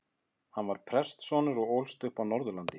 Hann var prestssonur og ólst upp á Norðurlandi.